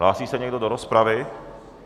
Hlásí se někdo do rozpravy?